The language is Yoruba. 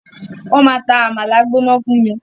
Wọ́n máa ta àmàlà gbóná fún mi.